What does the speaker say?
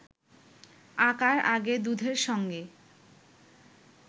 আঁকার আগে দুধের সঙ্গে